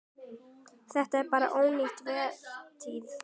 Þetta er bara ónýt vertíð.